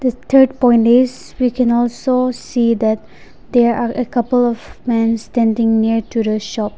the third point is we can also see that there are a couple of man standing near to the shop.